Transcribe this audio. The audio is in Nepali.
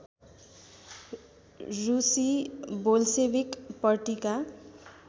रुसी बोल्सेविक पर्टीका